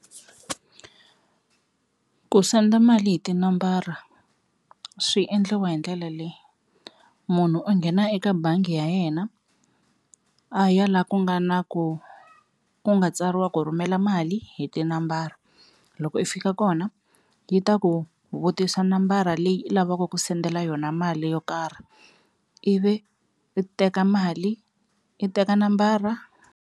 Ku senda mali hi tinambara swi endliwa hi ndlela leyi, munhu u nghena eka bangi ya yena a ya la ku nga na ku ku nga tsariwa ku rhumela mali hi tinambara, loko i fika kona yi ta ku vutisa nambara leyi i lavaka ku sendela yona mali yo karhi, ivi i teka mali i teka nambara.